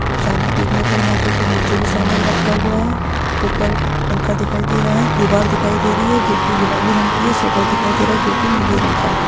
सामने देखने पे यहाँ पे नीचे भी सामान रखा हुआ हैं। उपर पंखा दिखाई दे रहा हैं। दीवार दिखाई दे रही है जो कि गुलाबी रंग की हैं। शटर दिखाई दे रहा हैं। जो कि नीले रंग का हैं।